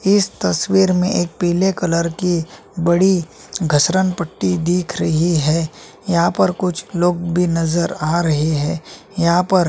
इस तस्वीर में एक पिले कलर की बड़ी घसरण पट्टी दिख रही है यहाँ पर कुछ लोग भी नज़र आ रहे है यहाँ पर--